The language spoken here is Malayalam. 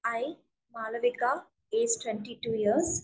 I Malavika is twenty two years.